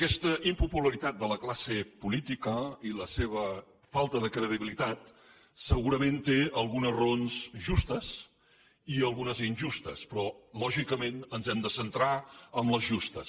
aquesta impopularitat de la classe política i la seva falta de credibilitat segurament té algunes raons justes i algunes injustes però lògicament ens hem de centrar en les justes